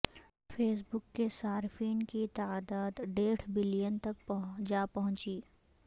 face بک کے صارفین کی تعداد ڈیڑھ بلین تک جا پہنچی